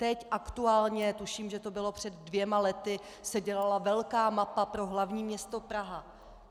Teď aktuálně, tuším, že to bylo před dvěma lety, se dělala velká mapa pro hlavní město Praha.